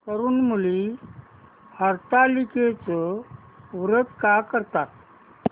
तरुण मुली हरतालिकेचं व्रत का करतात